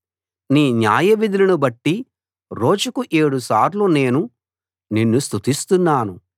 నీ న్యాయవిధులనుబట్టి రోజుకు ఏడు సార్లు నేను నిన్ను స్తుతిస్తున్నాను